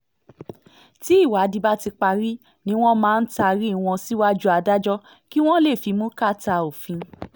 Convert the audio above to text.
tí ìwádìí bá ti parí ni wọ́n máa taari wọn síwájú adájọ́ kí wọ́n lè fimú kàtà òfin